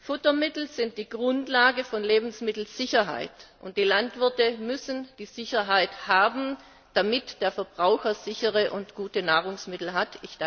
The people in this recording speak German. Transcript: Futtermittel sind die Grundlage von Lebensmittelsicherheit, und die Landwirte müssen die Sicherheit haben, damit der Verbraucher sichere und gute Nahrungsmittel hat.